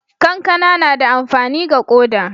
kankana na da amfani ga koda